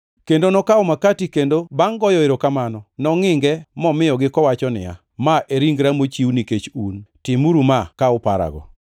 Kendo nokawo makati kendo bangʼ goyo erokamano nongʼinge momiyogi kowacho niya, “Ma e ringra mochiw nikech un, timuru ma ka uparago.”